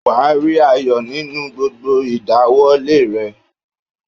Wàá rí ayọ̀ nínú gbogbo ìdáwólé rẹ